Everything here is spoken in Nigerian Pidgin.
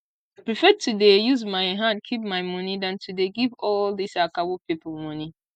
i prefer to dey use my hand keep my money than to dey give all dis akawo people money